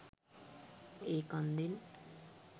ඒ කන්දෙන්